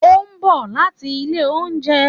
Ó ń bọ̀ láti ilé oúnjẹ.